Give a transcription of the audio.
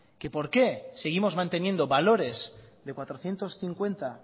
que por qué seguimos manteniendo valores de cuatrocientos cincuenta